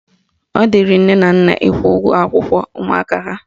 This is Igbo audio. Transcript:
Ọ dịrị nne na nna ịkwụ ụgwọ akwụkwọ ụmụaka ha